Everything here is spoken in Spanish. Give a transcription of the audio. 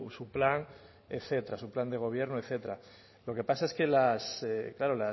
su plan etcétera su plan de gobierno etcétera lo que pasa es que las claro